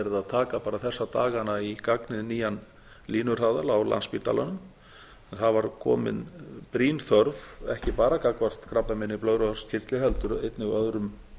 taka bara þessa dagana í gagnið nýjan línuhraðal á landspítalanum það var komin brýn þörf ekki bara gagnvart krabbameini í blöðruhálskirtli heldur einnig öðrum